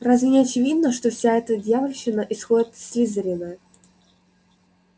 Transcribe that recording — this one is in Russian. разве не очевидно что вся эта дьявольщина исходит из слизерина